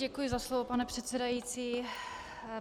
Děkuji za slovo, pane předsedající.